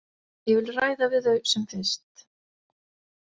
Ég vil ræða við þau sem fyrst.